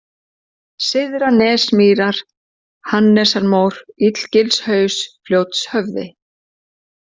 Syðranesmýrar, Hannesrmór, Illagilshaus, Fljótshöfði